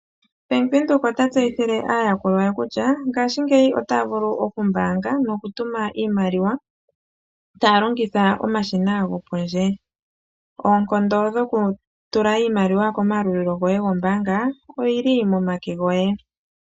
Bank Widhoek ota tseyithile aayakulwa ye kutya ngaashingeyi otaya vulu okumbaanga nokutuma iimaliwa taya longitha omashina gopondje. Oonkondo dhokutula iimaliwa komayalulo goye goombanga ogeli momake goye.